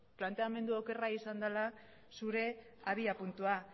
planteamendu okerra izan dela zure abiapuntua